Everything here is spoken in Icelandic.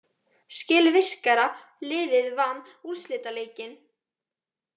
Skilvirkara liðið vann úrslitaleikinn.